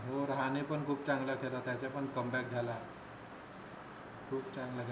हो राहणे पण खूप चांगला आहे आता त्याचा पण come back झाला खूप चांगला